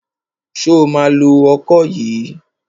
Ṣo ma lo ọkọ yìí?